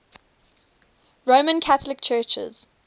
roman catholic churches